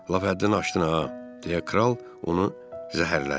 Lap həddini aşdın ha, deyə kral onu zəhərlədi.